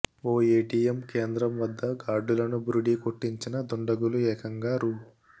ఓ ATM కేంద్రం వద్ద గార్డులను బురిడీ కొట్టించిన దుండగులు ఏకంగా రూ